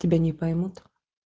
тебя не поймут